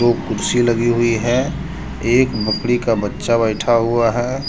वो कुर्सी लगी हुई है एक मकड़ी का बच्चा बैठा हुआ है।